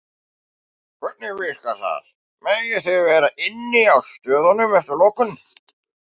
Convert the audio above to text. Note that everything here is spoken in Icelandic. Hvernig virkar það, megið þið vera inni á stöðunum eftir lokun?